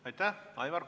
Aitäh!